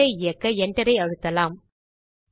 command ஐ இயக்க Enter ஐ அழுத்தலாம்